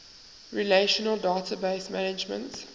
relational database management